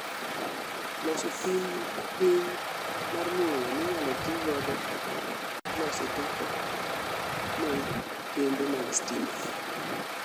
Loso pim ma piny mar mula minyalo tii godo loso teko ne kembe mag stima